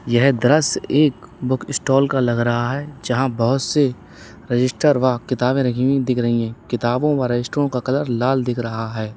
यह दृश्य एक बुकस्टॉल का लग रहा है जहां बहोत से रजिस्टर व किताबें रखी हुई दिख रही हैं किताबों व रजिस्टरों का कलर लाल दिख रहा है।